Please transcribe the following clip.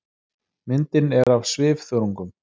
Myndin er af svifþörungum.